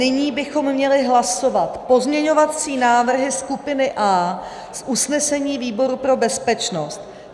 Nyní bychom měli hlasovat pozměňovací návrhy skupiny A z usnesení výboru pro bezpečnost.